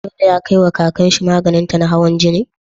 Bello ya kai wa kakar shi maganin ta na hawan jini?